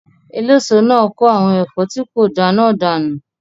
Eléso náà kó àwọn ẹ̀fọ́ tí kò da náà dànù